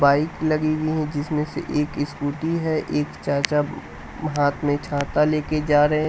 Bike लगी हुई है जिसमें से एक स्कूटी है एक चाचा हाथ में छाता ले के जा रहे हैं।